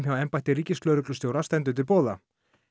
hjá embætti ríkislögreglustjóra stendur til boða